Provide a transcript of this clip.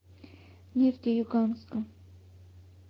нефтеюганска